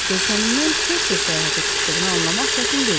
Görkəmindən tez-tez səyahətə çıxdığını anlamaq çətin deyildi.